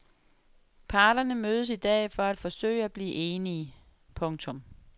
Parterne mødes i dag for at forsøge at blive enige. punktum